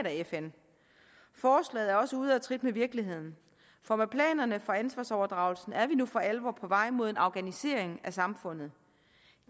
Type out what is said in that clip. fn forslaget er også ude at trit med virkeligheden for med planerne for ansvarsoverdragelsen er vi nu for alvor på vej mod en afghanisering af samfundet